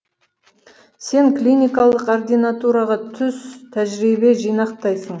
сен клиникалық ординатураға түс тәжірибе жинақтайсың